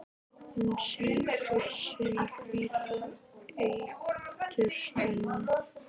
Hún sýgur sinn hvíta eitur spena.